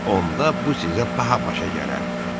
Onda bu sizə baha başa gələr.